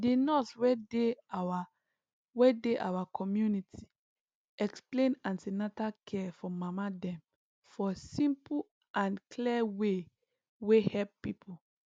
the nurse wey dey our wey dey our community explain an ten atal care for mama dem for simple and clear way wey help people